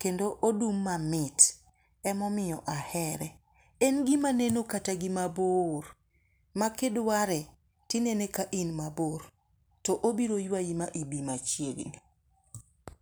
kendo odum mamit emomiyo ahere. En gima neno kata gi mabor ma kidware tinene ka in mabor to obiro ywayi ma ibi machiegni.